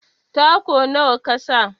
Taku nawa kasa?